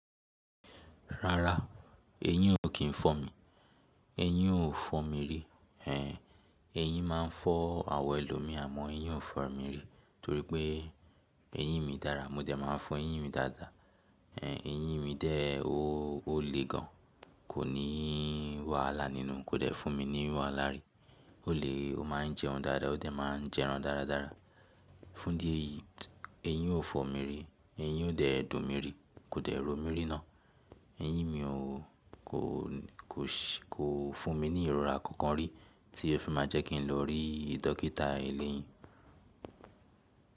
Rárá, eyín o kí n fọ mi, eyín o fọ mi ri, ẹh eyín máa n fọ́ àwọn ẹlòmí àmọ eyín o fọ mi ri torí pé eyín mi dára mo jẹ máa n fọn eyín mi dáadáa, ẹh eyín mi de o olè gan, kò ní wàhálà nínú, kò de fùn mi ní wàhálà ri, olè o ma n jẹun dáadáa o de ma n jẹ ẹran dáradára. Fún díẹ̀ eyín o fọ mi ri, eyín o de dùnmi ri, kò de ro mí ríná, eyín mi o kò kò si kò fùn mi ní ìrora kankan rí tí o fi máa jẹ́ kín ló rí dọ́kítà eleyín.